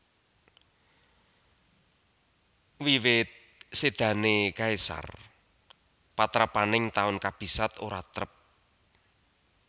Wiwit sédané Caesar patrapaning taun kabisat ora trep